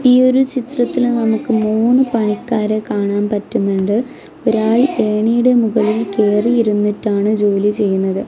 ഈ ഒരു ചിതത്തിൽ നമുക്ക് മൂന്ന് പണിക്കാരെ കാണാൻ പറ്റുന്നുണ്ട് ഒരാൾ ഏണിയുടെ മുകളിൽ കേറിയിരുന്നിട്ടാണ് ജോലി ചെയ്യുന്നത്.